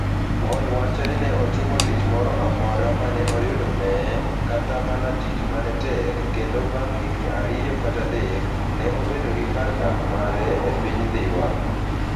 Paul wacho ni ne otimo tich moro amora ma ne oyudone, kata mana tich ma ne tek, kendo bang ' higini ariyo kata adek, ne obedo gi kar dak mare e piny Dhiwa.